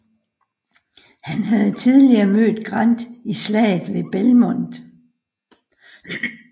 Han havde tidligere mødt Grant i Slaget ved Belmont